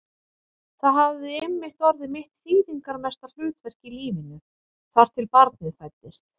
Og það hafði einmitt orðið mitt þýðingarmesta hlutverk í lífinu, þar til barnið fæddist.